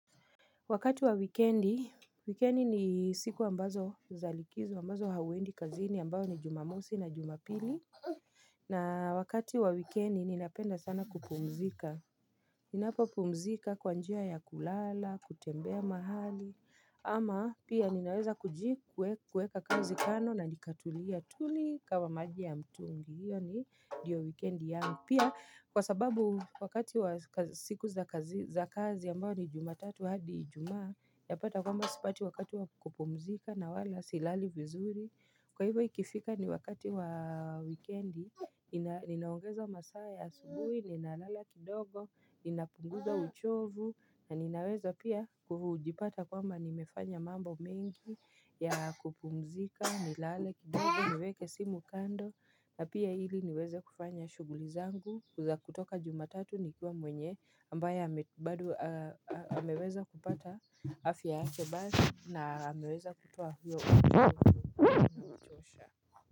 Wakati wa wekendi, wekendi ni siku ambazo niza likizo, ambazo hauendi kazini ambayo ni jumamosi na jumapili. Na wakati wa wikendi ninapenda sana kupumzika. Ninapopumzika kwa njia ya kulala, kutembea mahali, ama pia ninaweza kujikuweka kazi kano na nikatulia tuli kama maji ya mtungi. Hiyo ni ndiyo wikendi ya. Pia, kwa sababu wakati wa siku za kazi ambao ni jumatatu hadi ijuma yapata kwamba sipati wakati wakati wa kupumzika na wala silali vizuri. Kwa hivyo ikifika ni wakati wa wikendi inaongeza masaa asubuhi, ninalala kidogo, inapunguza uchovu na ninaweza pia kujipata kwamba nimefanya mambo mengi ya kupumzika, nilale, nilale, niweke simu kando na pia ili niweze kufanya shuguli zangu kutoka jumatatu nikiwa mwenye ambaye bado ameweza kupata afya yake basi na ameweza kutoa huyo metosha.